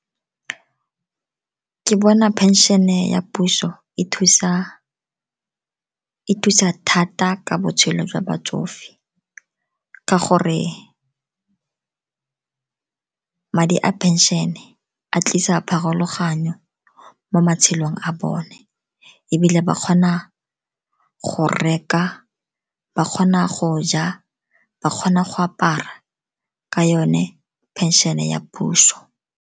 Ke bona phenšene ya puso e thusa thata ka botshelo jwa batsofe, ka gore madi a phenšene a tlisa pharologanyo mo matshelong a bone. Ebile ba kgona go reka, ba kgona go ja, ba kgona go apara ka yone phenšhene ya puso.